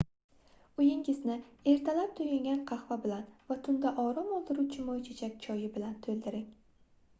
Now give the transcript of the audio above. uyingizni ertalab toʻyingan qahva bilan va tunda orom oldiruvchi moychechak choyi bilan toʻldiring